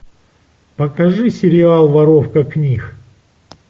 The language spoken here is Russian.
покажи сериал воровка книг